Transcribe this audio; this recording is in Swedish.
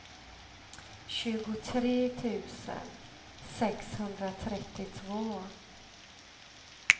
tjugotre tusen sexhundratrettiotvå